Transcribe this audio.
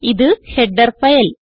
ഇത് header file